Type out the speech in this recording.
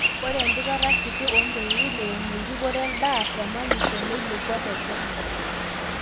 ore empikata kiti oompeutin :eimu eripoto edaa te manyisho neilepua te kenya